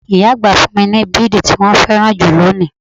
Ìyá àgbà fún mi bidi tí wọn féràn jù lónìí.